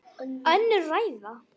Önnur ræða.